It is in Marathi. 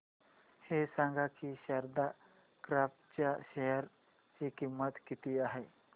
हे सांगा की शारदा क्रॉप च्या शेअर ची किंमत किती आहे